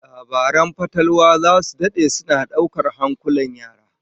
Labaran fatalwa zasu dade suna daukar hankalin yara